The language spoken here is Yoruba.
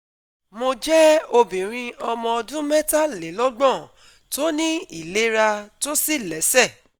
Mo jẹ́ obìnrin ọmọ ọdún metalelogbon tó ní ìlera tó sì lẹ́sẹ̀